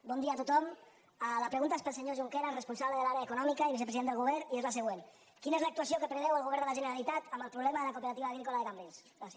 bon dia a tothom la pregunta és per al senyor junqueras responsable de l’àrea econòmica i vicepresident del govern i és la següent quina és l’actuació que preveu el govern de la generalitat en el problema de la cooperativa agrícola de cambrils gràcies